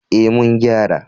Ee, mun gyara.